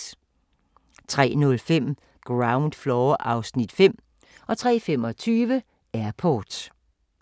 03:05: Ground Floor (Afs. 5) 03:25: Airport